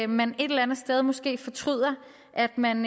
man et eller andet sted måske fortryder at man